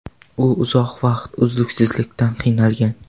U uzoq vaqt uyqusizlikdan qiynalgan.